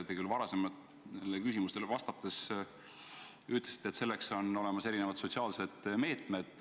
Te küll varasematele küsimustele vastates ütlesite, et selleks on olemas erinevad sotsiaalsed meetmed.